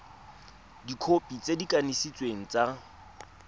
dikhopi tse di kanisitsweng tsa